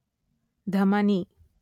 ಧಮನಿ